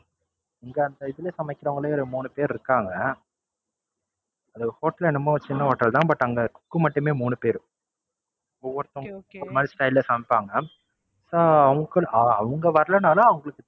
எங்க, அந்த இதுல சமைக்கிரவங்களே ஒரு மூணு பேர் இருக்காங்க. நம்ம Hotel சின்ன Hotel தான். But cook மட்டுமே மூணு பேர். ஒவ்வொருத்தும் ஒவ்வொரு Style ல சமைப்பாங்க. அவங்க வரலேனாலும்